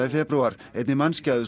í febrúar einni